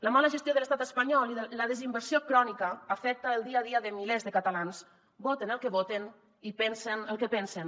la mala gestió de l’estat espanyol i la desinversió crònica afecta el dia a dia de milers de catalans voten el que voten i pensen el que pensen